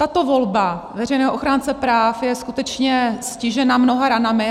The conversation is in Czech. Tato volba veřejného ochránce práv je skutečně stižena mnoha ranami.